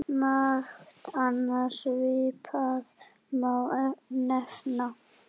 Margt annað svipað má nefna.